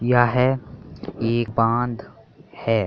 यह एक बाँध है।